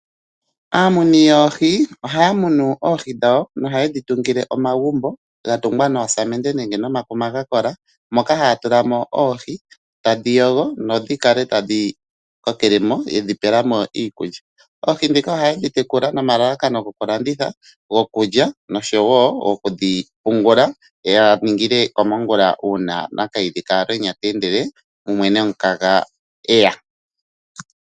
Aamuni yoohi ohaya munu oohi dhawo nohayedhi tungile omagumbo ga tungwa noosamende nenge nomakuma ga kola moka haya tula mo oohi tadhi yogo nodhi kale tadhi kokele mo yedhi pela mo iikulya. Oohi ndhika ohaye dhi tekula nomalalakano gokulanditha, gokulya noshowo goku dhi pungula ya ningile komongula uuna nakayidhi kaalwenya te endele mumwe nomukaga e ya.